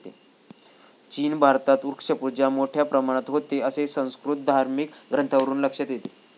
चीन भारतात वृक्षपूजा मोठ्या प्रमाणात होते, असे संस्कृत धार्मिक ग्रंथांवरून लक्षात येते.